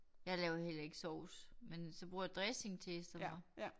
Jeg laver heller ikke sovs men så bruger jeg dressing til i stedet for